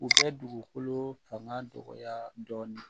U bɛ dugukolo fanga dɔgɔya dɔɔni